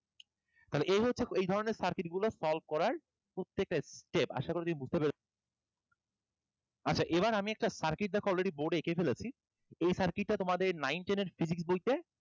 তাহলে এই হচ্ছে এই ধরনের circuit গুলো solve করার প্রত্যেকটা step আশা করি তুমি বুঝতে পেরেছো আচ্ছা এবার আমি একটা circuit দেখো already board এ এঁকে ফেলেছি এই circuit টা তোমাদের nine ten এর physics বইতে